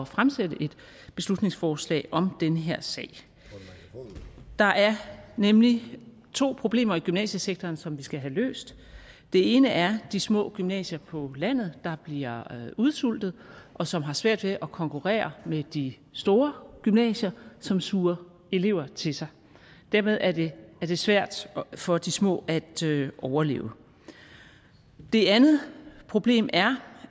fremsætte et beslutningsforslag om den her sag der er nemlig to problemer i gymnasiesektoren som vi skal have løst det ene er de små gymnasier på landet der bliver udsultet og som har svært ved at konkurrere med de store gymnasier som suger elever til sig dermed er det svært for de små at overleve det andet problem er